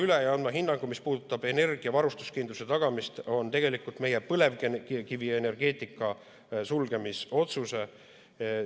Teiseks, mis puudutab energiavarustuskindluse tagamist, siis me peame kiiresti vaatama üle meie põlevkivienergeetika sulgemise otsuse ja andma hinnangu.